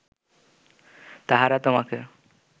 তাহারা তোমাকে